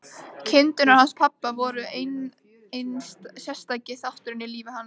Kindurnar hans pabba voru einn sterkasti þátturinn í lífi hans.